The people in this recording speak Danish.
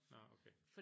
Nårh okay